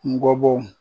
Ngɔbɔbɔw